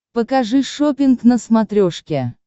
покажи шоппинг на смотрешке